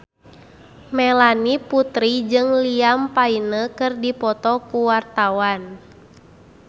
Melanie Putri jeung Liam Payne keur dipoto ku wartawan